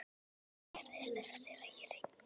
Og hvað gerðist eftir að ég hringdi?